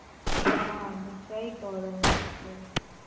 হ্যাঁ অনেকটাই গরম আছে